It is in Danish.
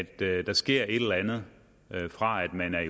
at der sker et eller andet fra man er